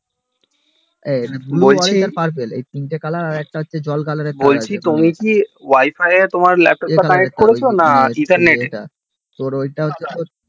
বলছি তুমি কি wi-fi এ তোমার laptop টা connect করেছো নাকি internet এ